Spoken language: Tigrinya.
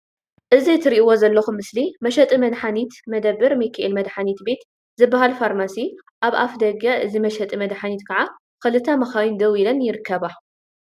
እዚ እትሬእዎ ዘለኩም ምስሊ መሸጢ መድሓኒት መደበር ሚካኤል መድሓኒት ቤት ዝበሃል ፋርማሲ ኣብ እፍ ደገ እዚ መሸጢ መድሓኒት ክዓ ክልተ መካይን ደው ኢለን ይርከባ።